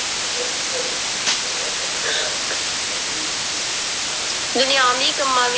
ਦੁਨੀਆਵੀ ਕੰਮਾਂ